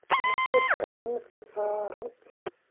Maseerka ayaa miiska saaran.